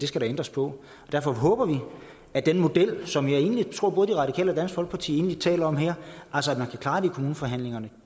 skal ændres på og derfor håber vi at den model som jeg egentlig tror både de radikale og dansk folkeparti taler om her altså at man kan klare det i kommuneforhandlingerne